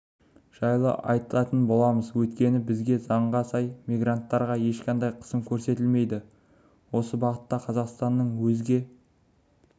жайлы айтатын боламыз өйткені бізде заңға сай мигранттарға ешқандай қысым көрсетілмейді осы бағытта қазақстанның өзге